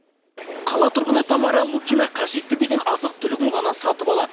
қала тұрғыны тамара лукина қажетті деген азық түлігін ғана сатып алады